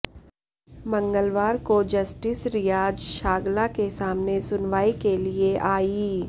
मंगलवार को जस्टिस रियाज छागला के सामने सुनवाई के लिए अायी